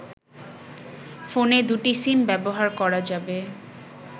ফোনে দুটি সিম ব্যবহার করা যাবে